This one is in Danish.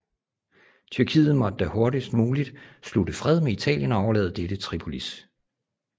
Tyrkiet måtte da hurtigst muligt slutte fred med Italien og overlade dette Tripolis